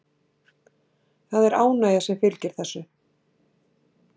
Það er ánægja sem fylgir þessu.